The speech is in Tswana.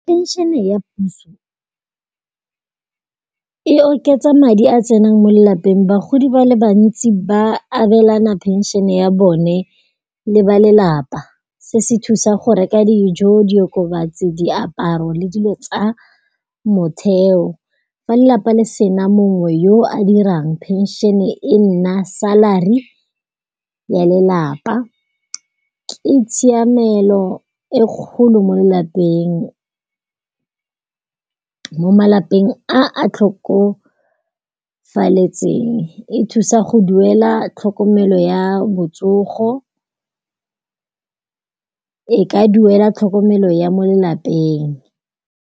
Pension-e ya puso e oketsa madi a tsenang mo lelapeng, bagodi ba le bantsi ba abelana phenšene ya bone le ba lelapa. Se se thusa go reka dijo, diokobatsi, diaparo le dilo tsa motheo. Fa lelapa le sena mongwe yo a dirang, phensšene e nna salary ya lelapa. Ke tshiamelo e kgolo mo malapeng a a tlhokofaletseng e thusa go duela tlhokomelo ya botsogo, e ka duela tlhokomelo ya mo lelapeng.